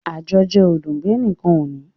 Àjọjẹ ò dùn bí ẹnìkan ò bá ní